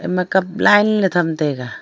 ema cup line le tham taiga.